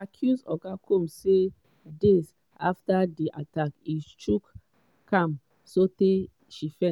she accuse oga combs say days afta di attack e choke am sotay she faint.